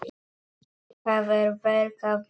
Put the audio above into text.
Það er verk að vinna.